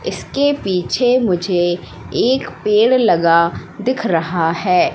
इसके पिछे मुझे एक पेड़ लगा दिख रहा है।